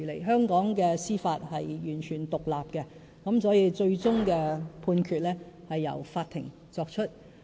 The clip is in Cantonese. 香港的司法是完全獨立的，所以最終的判決是由法庭作出。